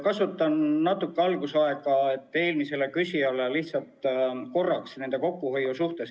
Kasutan natuke algusaega selleks, et vastata eelmisele küsijale kokkuhoiu kohta.